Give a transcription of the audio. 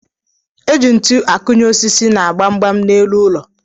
Eji ntụ akụnye osisi na gbamgbam n'elu ụlọ